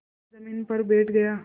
मोरू ज़मीन पर बैठ गया